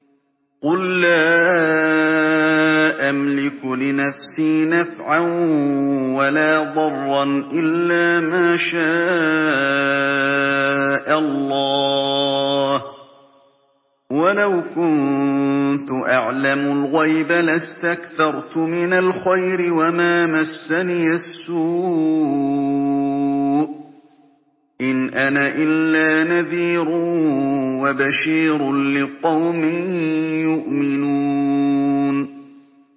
قُل لَّا أَمْلِكُ لِنَفْسِي نَفْعًا وَلَا ضَرًّا إِلَّا مَا شَاءَ اللَّهُ ۚ وَلَوْ كُنتُ أَعْلَمُ الْغَيْبَ لَاسْتَكْثَرْتُ مِنَ الْخَيْرِ وَمَا مَسَّنِيَ السُّوءُ ۚ إِنْ أَنَا إِلَّا نَذِيرٌ وَبَشِيرٌ لِّقَوْمٍ يُؤْمِنُونَ